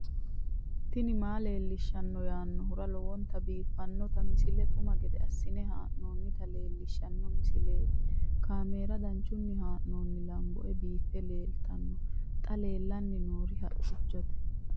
tini maa leelishshanno yaannohura lowonta biiffanota misile xuma gede assine haa'noonnita leellishshanno misileeti kaameru danchunni haa'noonni lamboe biiffe leeeltanno xa lellanni noori haqqichote